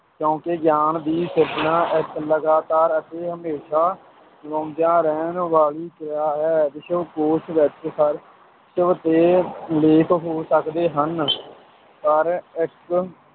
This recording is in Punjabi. ਕਿਉਂਕਿ ਗਿਆਨ ਦੀ ਸਿਰਜਣਾ ਇੱਕ ਲਗਾਤਾਰ ਅਤੇ ਹਮੇਸ਼ਾਂ ਰਹਿਣ ਵਾਲੀ ਕਿਰਿਆ ਹੈ, ਵਿਸ਼ਵਕੋਸ਼ ਵਿੱਚ ਹਰ ਤੇ ਲੇਖ ਹੋ ਸਕਦੇ ਹਨ ਪਰ ਇੱਕ